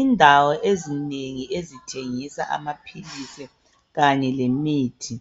Indawo ezinengi ezithengisa amaphilisi kanye lemithi imithi